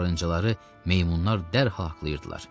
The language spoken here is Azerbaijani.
Axırıncıları meymunlar dərhal haqlayırdılar.